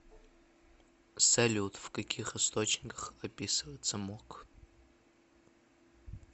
салют в каких источниках описывается мок